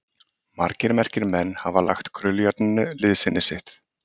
Margir merkir menn hafa lagt krullujárninu liðsinni sitt.